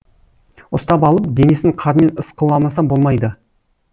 ұстап алып денесін қармен ысқыламаса болмайды